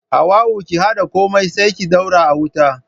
Hauwa'u ki haɗa komai sai ki daura a wuta.